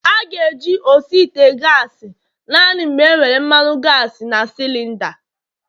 A ga-eji osi ite gasi naanị mgbe enwere mmanu gasi na cilinda